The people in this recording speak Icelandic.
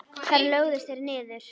Þar lögðust þeir niður.